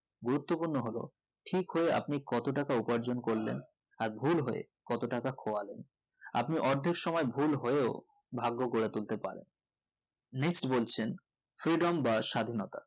গুরুত্ব পূর্ণ হলো ঠিক হয়ে আপনি কত টাকা উপার্জন করেন আর ভুল হয়ে কতটাকা খোয়ালেন আপনি অর্ধক সময় ভুল হয়েও ভাগ্য গড়ে তুলতে পারেন next বলছেন freedom বা স্বাধীনতা